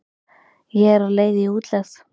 Ég er á leið í útlegð.